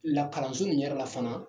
Lakalanso ni yɛrɛ la fana